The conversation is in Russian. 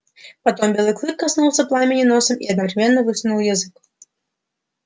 потом белый клык коснулся пламени носом и одновременно высунул язык